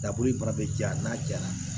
Daboli fana bɛ ja n'a jara